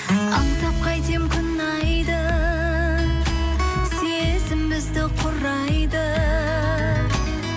аңсап қайтем күн айды сезім бізді құрайды